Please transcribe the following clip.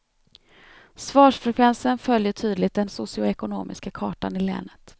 Svarsfrekvensen följer tydligt den socioekonomiska kartan i länet.